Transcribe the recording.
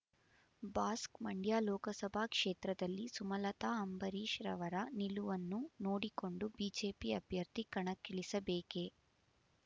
Basque Mandya Lok Sabha ಕ್ಷೇತ್ರದಲ್ಲಿ ಸುಮಲತಾ ಅಂಬರೀಶ್‌ರವರ ನಿಲುವನ್ನು ನೋಡಿಕೊಂಡು ಬಿಜೆಪಿ ಅಭ್ಯರ್ಥಿ ಕಣಕ್ಕಿಳಿಸಬೇಕೇ